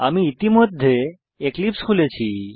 আমি ইতিমধ্যে এক্লিপসে খুলেছি